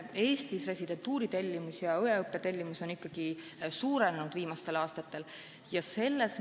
Eestis residentuuritellimus ja õeõppe tellimus on viimastel aastatel suurenenud.